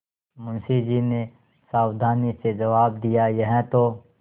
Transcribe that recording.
मुंशी जी ने सावधानी से जवाब दियायह तो